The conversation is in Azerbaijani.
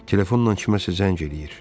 Telefonla kimsə zəng eləyir.